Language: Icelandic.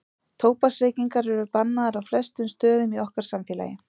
Tóbaksreykingar eru bannaðar á flestum stöðum í okkar samfélagi.